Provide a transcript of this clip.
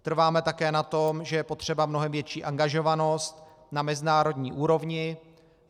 Trváme také na tom, že je potřeba mnohem větší angažovanost na mezinárodní úrovni.